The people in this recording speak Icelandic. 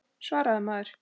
Svaraðu maður.